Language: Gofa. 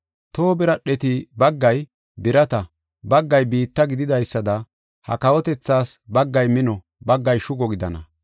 Toho biradheti baggay birata, baggay biitta gididaysada, ha kawotethaas baggay mino, baggay shugo gidana.